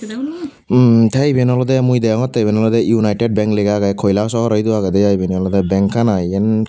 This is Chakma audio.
hmm tey eben olodey mui degongtey eben olodey united bank lega aagey koilashahar edu aagedey i ebeni olodey bankan i eyan.